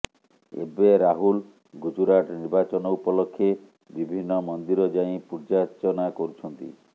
ଏବେ ରାହୁଲ ଗୁଜୁରାଟ ନିର୍ବାଚନ ଉପଲକ୍ଷେ ବିଭିନ୍ନ ମନ୍ଦିର ଯାଇ ପୂଜାର୍ଚ୍ଚନା କରୁଛନ୍ତି